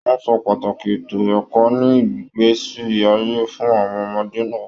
Wọn sọ pàtàkì ètò ẹ̀kọ́ ní ìgbésí ayé fún àwọn ọmọdé náà.